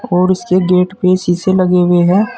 और इसके गेट पे शीशे लगे हुए हैं।